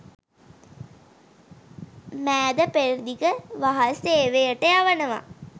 මෑද පෙරදිග වහල් සේවයට යවනවා